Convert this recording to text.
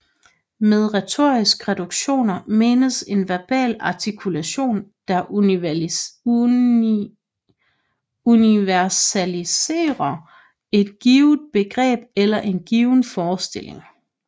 Med retoriske reduktioner menes en verbal artikulation der universaliserer et givet begreb eller en given forestilling